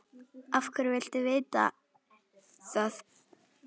Af hverju viltu vita það?